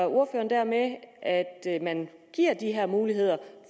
ordføreren dermed at man giver de her muligheder